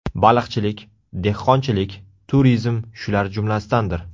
Baliqchilik, dehqonchilik, turizm shular jumlasidandir.